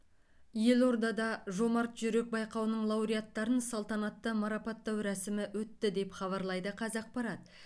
елордада жомарт жүрек байқауының лауреаттарын салтанатты марапаттау рәсімі өтті деп хабарлайды қазақпарат